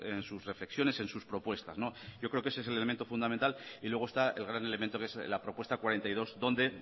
en sus reflexiones en sus propuestas yo creo que ese es el elemento fundamental luego está el gran elemento que es la propuesta cuarenta y dos donde